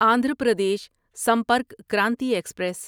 Andhra Pradesh Sampark Kranti express